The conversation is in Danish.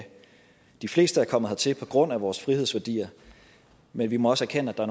de fleste er kommet hertil på grund af vores frihedsværdier men vi må også erkende at der